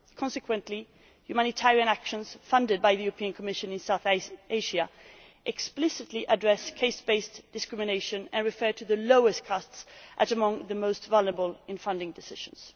Consequently, humanitarian work funded by the European Commission in South Asia explicitly addresses caste based discrimination and refers to the lowest castes as among the most vulnerable when taking funding decisions.